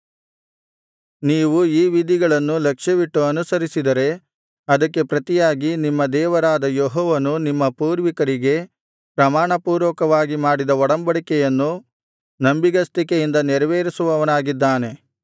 ನೀವು ಈ ವಿಧಿಗಳನ್ನು ಲಕ್ಷ್ಯವಿಟ್ಟು ಅನುಸರಿಸಿದರೆ ಅದಕ್ಕೆ ಪ್ರತಿಯಾಗಿ ನಿಮ್ಮ ದೇವರಾದ ಯೆಹೋವನು ನಿಮ್ಮ ಪೂರ್ವಿಕರಿಗೆ ಪ್ರಮಾಣಪೂರ್ವಕವಾಗಿ ಮಾಡಿದ ಒಡಂಬಡಿಕೆಯನ್ನು ನಂಬಿಗಸ್ತಿಕೆಯಿಂದ ನೆರವೇರಿಸುವವನಾಗಿದ್ದಾನೆ